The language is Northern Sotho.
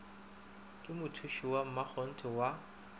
ka mothuši wa mmakgonthe wa